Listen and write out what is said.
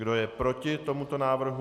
Kdo je proti tomuto návrhu?